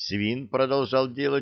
свин продолжал делать